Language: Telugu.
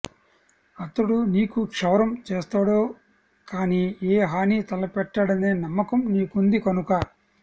అతడు నీకు క్షవరం చేస్తాడే కానీ ఏ హానీ తలపెట్టడనే నమ్మకం నీకుంది కనుక